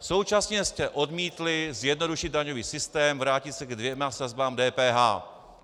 Současně jste odmítli zjednodušit daňový systém, vrátit se ke dvěma sazbám DPH.